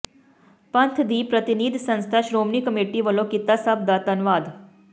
ਪੰਥ ਦੀ ਪ੍ਰਤੀਨਿਧ ਸੰਸਥਾ ਸ਼੍ਰੋਮਣੀ ਕਮੇਟੀ ਵੱਲੋਂ ਕੀਤਾ ਸਭ ਦਾ ਧੰਨਵਾਦ